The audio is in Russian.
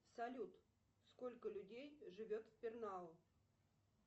салют сколько людей живет в пернау